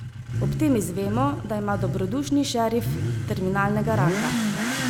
Ob tem izvemo, da ima dobrodušni šerif terminalnega raka.